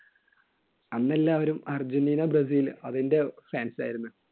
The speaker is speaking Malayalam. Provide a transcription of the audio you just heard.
അന്ന് എല്ലാരും അർജൻറീന ബ്രസീൽ അതിൻറെ fans ആയിരുന്നു.